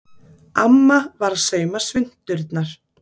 Amma var að sauma svunturnar.